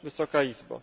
Wysoka Izbo!